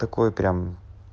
такой прям